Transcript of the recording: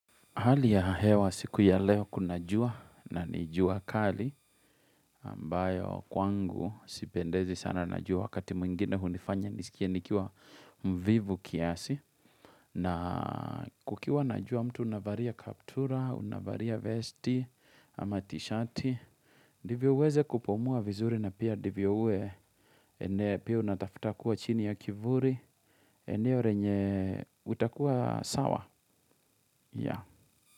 Hali ya hewa siku ya leo kuna jua na jua kali ambayo kwangu sipendezi sana na jua wakati mwingine hunifanya nisikie nikiwa mvivu kiasi na kukiwa na jua mtu unavaria kaptura, unavaria vesti, ama tishati. Divyo uweze kupumua vizuri na pia divyo ue ene pia unatafuta kuwa chini ya kivuri eneo renye utakuwa sawa ya.